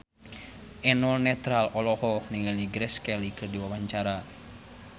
Eno Netral olohok ningali Grace Kelly keur diwawancara